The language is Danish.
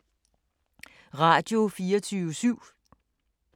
Radio24syv